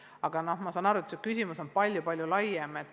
Aga ma saan aru, et see küsimus on palju-palju laiem.